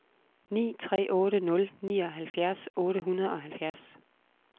ni tre otte nul nioghalvfjerds otte hundrede og halvfjerds